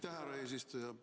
Aitäh, härra eesistuja!